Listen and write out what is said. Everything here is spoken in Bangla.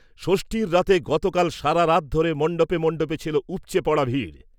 ষষ্ঠীর রাতে গতকাল সারারাত ধরে মণ্ডপে মণ্ডপে ছিল উপচে পড়া ভিড়।